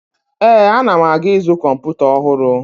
Ee, ana m aga izu kọmputa ọhụrụ.